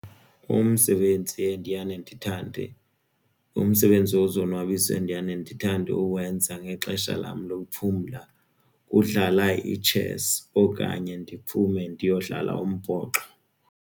Umsebenzi endiyane ndithande umsebenzi wozonwabisa endiyane ndithande uwenza ngexesha lam lokuphumla kudlala itshesi okanye ndiphume ndiyodlala umbhoxo.